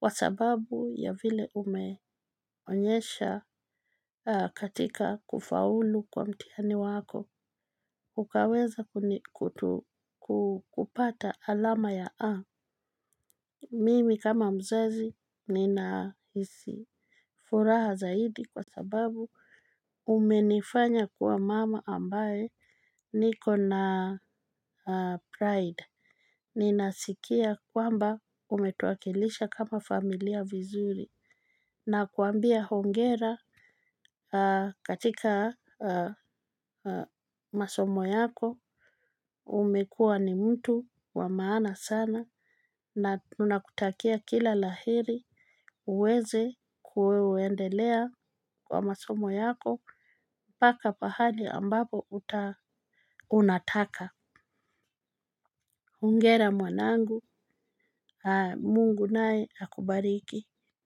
Kwa sababu ya vile umeonyesha katika kufaulu kwa mtihani wako. Ukaweza kutu ku kupata alama ya A. Mimi kama mzazi ninahisi furaha zaidi kwa sababu. Umenifanya kuwa mama ambaye niko na pride. Ninasikia kwamba umetuwakilisha kama familia vizuri. Nakuambia hongera katika masomo yako. Umekua ni mtu wa maana sana. Na tunakutakia kila la heri uweze kuweendelea kwa masomo yako. Paka pahali ambapo utaa Unataka. Ungera mwanangu Mungu naye akubariki.